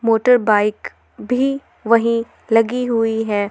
Motorbike भी वही लगी हुई हैं।